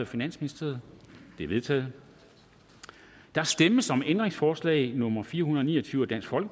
finansministeren de er vedtaget der stemmes om ændringsforslag nummer fire hundrede og ni og tyve af df og